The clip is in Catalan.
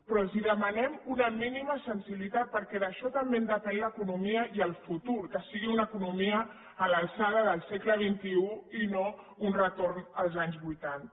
però els demanem una mínima sensibilitat perquè d’això també en depenen l’economia i el futur que sigui una economia a l’alçada del segle xxi i no un retorn els anys vuitanta